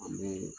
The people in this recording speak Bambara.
An bɛ